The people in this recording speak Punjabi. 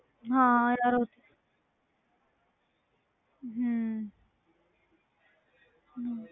ਹਾਂ ਯਾਰ ਉਹ ਹਮ ਹਮ